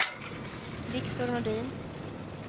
Viktor Nordin